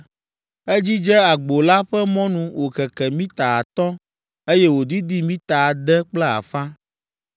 Edzidze agbo la ƒe mɔnu wòkeke mita atɔ̃ eye wòdidi mita ade kple afã.